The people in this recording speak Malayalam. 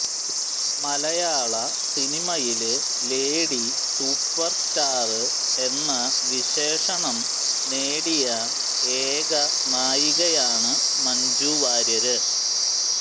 മലയാള സിനിമയില് ലേഡി സൂപ്പര് സ്റ്റാര് എന്ന വിശേഷണം നേടിയ ഏക നായികയാണ് മഞ്ജുവാര്യര്